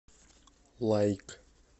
лайк